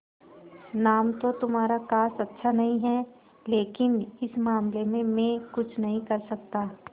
नाम तो तुम्हारा खास अच्छा नहीं है लेकिन इस मामले में मैं कुछ नहीं कर सकता